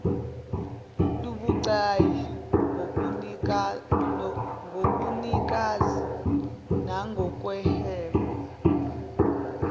lubucayi ngobunikazi nangokuhweba